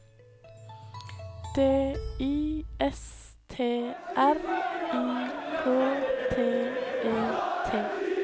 D I S T R I K T E T